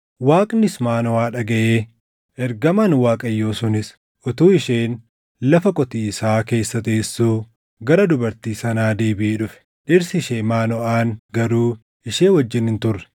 Waaqnis Maanoʼaa dhagaʼe; ergamaan Waaqayyoo sunis utuu isheen lafa qotiisaa keessa teessuu gara dubartii sanaa deebiʼee dhufe; dhirsi ishee Maanoʼaan garuu ishee wajjin hin turre.